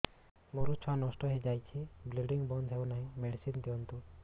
ମୋର ଛୁଆ ନଷ୍ଟ ହୋଇଯାଇଛି ବ୍ଲିଡ଼ିଙ୍ଗ ବନ୍ଦ ହଉନାହିଁ ମେଡିସିନ ଦିଅନ୍ତୁ